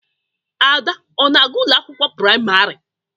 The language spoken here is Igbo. Ada ọ-na aga ụlọ akwụkwọ praịmarị?